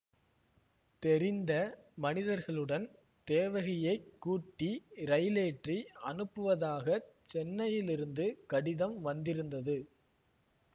தெரிந்த மனிதர்களுடன் தேவகியைக் கூட்டி ரயிலேற்றி அனுப்புவதாகச் சென்னையிலிருந்து கடிதம் வந்திருந்தது